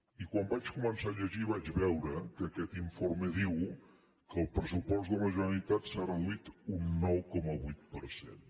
i quan el vaig començar a llegir vaig veure que aquest informe diu que el pressupost de la generalitat s’ha reduït un nou coma vuit per cent